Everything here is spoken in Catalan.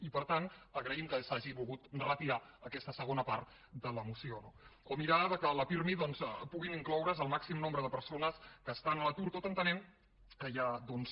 i per tant a graïm que s’hagi volgut retirar aquesta segona part de la moció no o mirar que al pirmi puguin incloure’s el màxim nombre de persones que estan a l’atur tot entenent que hi ha doncs